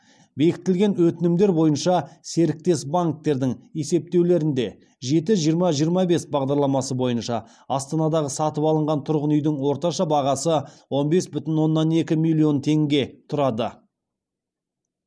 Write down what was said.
бекітілген өтінімдер бойынша серіктес банктердің есептеулерінде жеті жиырма жиырма бес бағдарламасы бойынша астанадағы сатып алынған тұрғын үйдің орташа бағасы он бес бүтін оннан екі миллион теңге тұрады